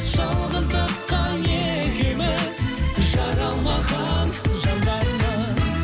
жалғыздыққа екеуіміз жаралмаған жандармыз